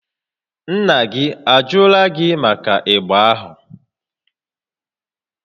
Nna gị ajụrụ gị màkà ịgba ahụ?